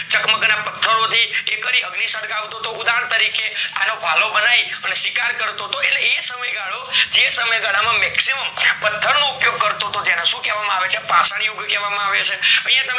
ચગમગ ના પથરો થી એ અગ્નિ સળગાવતો હતો ઉદાહરણ તરીકે અ એનો ભલો બનાયી અને શિકાર કરતો હતો એટલે એ સમય ગાળો જે સમય ગાળા માં maximum પથર નો ઉપયોગ કરતો હતો તો એને પાષણ યુગ કહેવામાં આવે છે